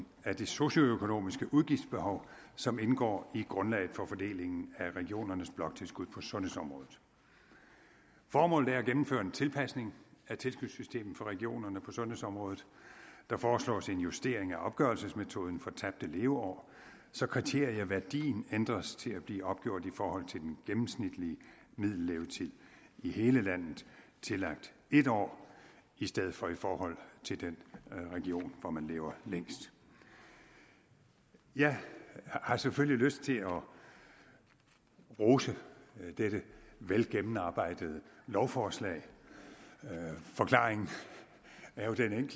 af det socioøkonomiske udgiftsbehov som indgår i grundlaget for fordelingen af regionernes bloktilskud på sundhedsområdet formålet er at gennemføre en tilpasning af tilskudssystemet for regionerne på sundhedsområdet der foreslås en justering af opgørelsesmetoden for tabte leveår så kriterieværdien ændres til at blive opgjort i forhold til den gennemsnitlige middellevetid i hele landet tillagt en år i stedet for i forhold til den region hvor man lever længst jeg har selvfølgelig lyst til at rose dette velgennemarbejdede lovforslag forklaringen er jo den